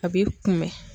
A b'i kunbɛn